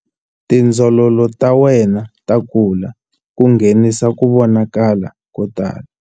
Tindzololo ta wena ta kula ku nghenisa ku vonakala ko tala.